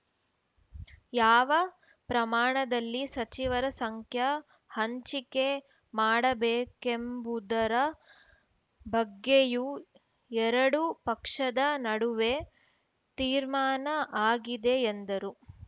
ಯಾವ ಪ್ರಮಾಣದಲ್ಲಿ ಸಚಿವರ ಸಂಖ್ಯ ಹಂಚಿಕೆ ಮಾಡಬೇಕೆಂಬುದರ ಬಗ್ಗೆಯೂ ಎರಡು ಪಕ್ಷದ ನಡುವೆ ತೀರ್ಮಾನ ಆಗಿದೆ ಎಂದರು